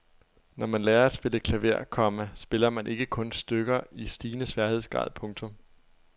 Når man lærer at spille klaver, komma spiller man ikke kun stykker i stigende sværhedsgrad. punktum